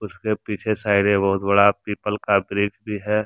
इसके पीछे साइड में बहुत बड़ा पीपल का वृक्ष भी है।